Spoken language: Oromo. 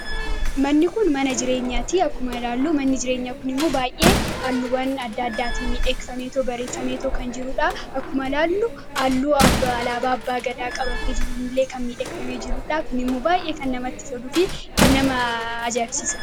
manni kun mana jireenyaa ti akkuma ilaalluu manni jireenyaa kun himmuu baay'ee aalluwan adda addaati miidheeksameetoo bareessameetoo kan jiruudhaa akkuma laalluu aalluu abba alaabaa abbaa gadaa qabatee jiruunillee kan miidheekname jiruudhaa kun immuu baay'ee kan namatti soduufi kan nama ajaabsisa